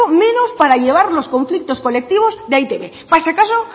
menos para llevar los conflictos colectivos de e i te be para ese caso